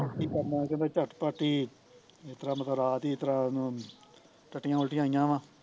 ਕੀ ਕਰਨਾ ਫੇਰ ਚੱਟ ਪਟ ਹੀਂ ਇਸਤਰਾ ਮਤਲਬ ਰਾਤ ਹੀਂ ਰਾਤ ਹੀਂ ਇਸ ਤਰਾ ਉਹਨੂ ਟੱਟੀਆ ਉਲਟੀਆ ਆਈਆ ਵਾਂ